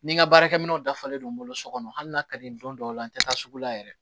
Ni n ka baarakɛ minɛnw dafalen don n bolo so kɔnɔ hali n'a ka di ye don dɔw la n tɛ taa sugu la yɛrɛ